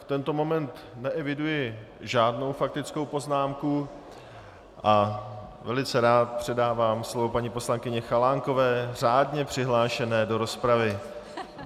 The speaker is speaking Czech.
V tento moment neeviduji žádnou faktickou poznámku a velice rád předávám slovo paní poslankyni Chalánkové, řádně přihlášené do rozpravy.